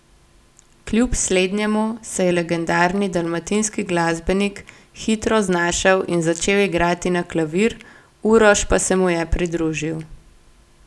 Kljub slednjemu se je legendarni dalmatinski glasbenik hitro znašel in začel igrati na klavir, Uroš pa se mu je pridružil.